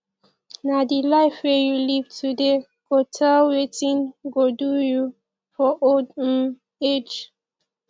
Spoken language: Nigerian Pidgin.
na di life wey you live today go tell wetin go do you for old um age